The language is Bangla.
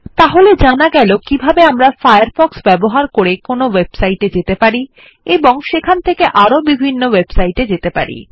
তাহলে জানা গেল কিবাহ্বে আমরা ফায়ারফক্ষ ব্যবহার করে কোনো ওয়েবসাইট এ যেতে পারি এবং সেখান থেকে আরো বিভিন্ন ওয়েবসাইট এ যেতে পারি